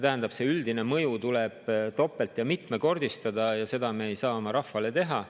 Tähendab, see üldine mõju tuleb topelt‑ ja mitmekordistada, aga seda me ei saa oma rahvale teha.